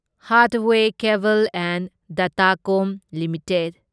Hathway cable and datacom limited